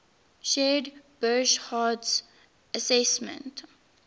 shared burckhardt's assessment